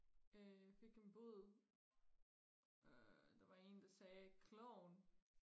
øh jeg fik en bud øh der var en der sagde klovn